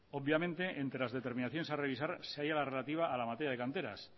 obviamente entre las determinaciones a revisar se haya la relativa a la materia de canteras